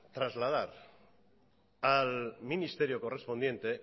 trasladar al ministerio correspondiente